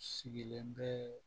Sigilen bɛ